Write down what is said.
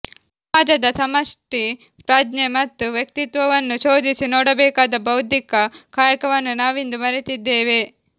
ಸಮಾಜದ ಸಮಷ್ಟಿ ಪ್ರಜ್ಞೆ ಮತ್ತು ವ್ಯಕ್ತಿತ್ವವನ್ನು ಶೋಧಿಸಿ ನೋಡಬೇಕಾದ ಬೌದ್ಧಿಕ ಕಾಯಕವನ್ನು ನಾವಿಂದು ಮರೆತಿದ್ದೇವೆ